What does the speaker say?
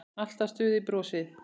Alltaf stutt í brosið.